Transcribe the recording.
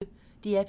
DR P1